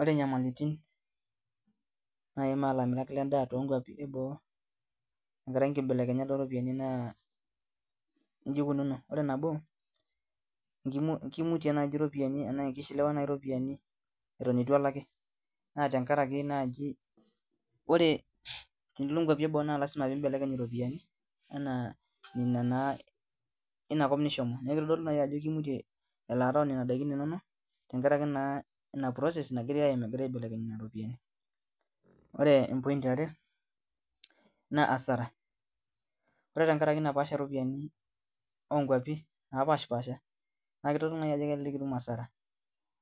Ore inyamilitin naimaa ilamirak lendaa tonkuapi eboo tenkaraki inkibelekenyat oropiani naa inji ikununo ore nabo kimu kimutie naaji iropiani enaa kishiliwa naaji iropiani eton itu elaki naa tenkaraki naaji ore tenilo inkuapi eboo naa lasima pimbelekeny iropiani anaa nina naa inakop nishomo niaku kitodolu naaji ajo kimutie elaata onena daikin inonok tenkaraki naa ina process nagirae aim egirae aibelekeny nana ropiyiani ore em point iare naa asara ore tenkarake napaasha iropiani onkuapi napashipasha naa kitodolu naaji ajo kelelek itum asara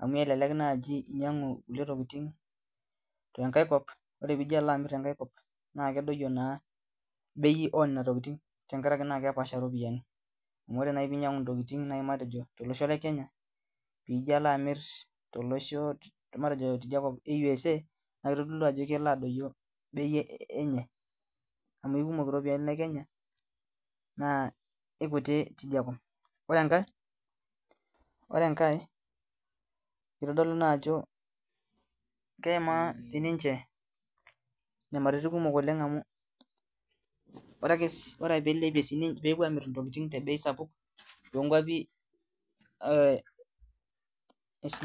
amu elelek naaji inyiang'u kulie tokiting tenkae kop ore piijo alo amirr tenkae kop naa kedoyio naa bei onena tokiting tenkarake naa kepaasha iropiyiani amu ore naaji piinyiang'u intokiting matejo tolosho le kenya piijio alo amirr tolosho te matejo tidia kop e USA naa kitodolu ajo kelo aduio bei enye amu aikumok iropiani e kenya naa ikuti tidia kop ore enkae ore enkae kitodolu naa ajo keimaa sininche nyamaritin kumok oleng amu ore akes ore ake peilepie sinin peepuo ailepie intokiting te bei sapuk tonkuapi eh es.